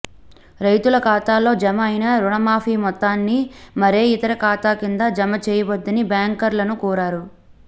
రైతుల ఖాతాల్లో జమ అయిన రుణ మాఫీ మొత్తాన్ని మరే ఇతర ఖాతా కింద జమ చేయవద్దని బ్యాంకర్లను కోరారు